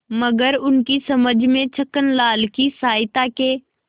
मगर उनकी समझ में छक्कनलाल की सहायता के